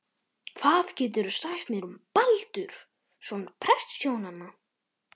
Hvað geturðu sagt mér um Baldur, son prestshjónanna?